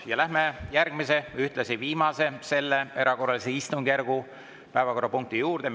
Ja läheme järgmise, ühtlasi viimase selle erakorralise istungjärgu päevakorrapunkti juurde.